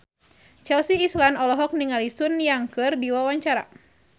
Chelsea Islan olohok ningali Sun Yang keur diwawancara